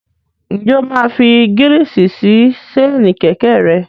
Ǹjẹ́ o máa fi gírísì sí séènì kẹ̀kẹ́ rẹ?